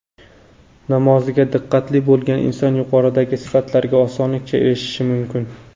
namoziga diqqatli bo‘lgan inson yuqoridagi sifatlarga osonlikcha erishishi mumkin.